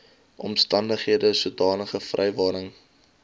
omstandighede sodanige vrywaring